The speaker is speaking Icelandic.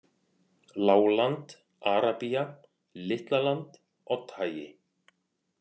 Lágland, Arabía, Litlaland, Oddhagi